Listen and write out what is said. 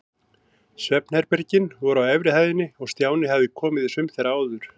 Svefnherbergin voru á efri hæðinni og Stjáni hafði komið í sum þeirra áður.